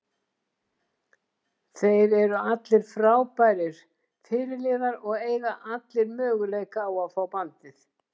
Þeir eru allir frábærir fyrirliða og eiga allir möguleika á að fá bandið.